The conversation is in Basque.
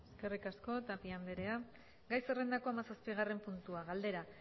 eskerrik asko tapia andrea gai zerrendako hamazazpigarren puntua galdera